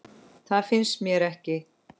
Það finnst mér ekki.